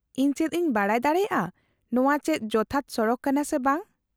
-ᱤᱧ ᱪᱮᱫ ᱤᱧ ᱵᱟᱰᱟᱭ ᱫᱟᱲᱮᱭᱟᱜᱼᱟ ᱱᱚᱶᱟ ᱪᱮᱫ ᱡᱚᱛᱷᱟᱛ ᱥᱚᱲᱚᱠ ᱠᱟᱱᱟ ᱥᱮ ᱵᱟᱝ ?